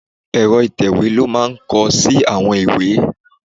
Èrọ ìtẹ̀wè ló máa ń kọ sí àwọn ìwé.